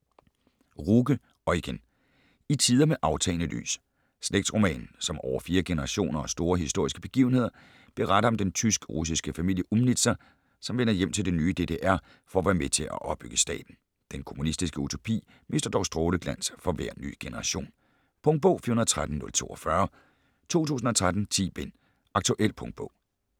Ruge, Eugen: I tider med aftagende lys Slægtsroman, som over fire generationer og store historiske begivenheder beretter om den tysk-russiske familie Umnitzer, som vender hjem til det nye DDR for at være med til at opbygge staten. Den kommunistiske utopi mister dog stråleglans for hver ny generation. Punktbog 413042 2013. 10 bind. Aktuel punktbog